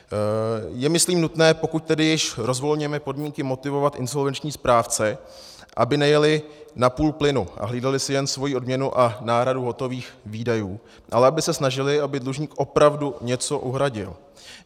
Je myslím nutné, pokud tedy již rozvolňujeme podmínky, motivovat insolvenční správce, aby nejeli na půl plynu a hlídali si jen svoji odměnu a náhradu hotových výdajů, ale aby se snažili, aby dlužník opravdu něco uhradil.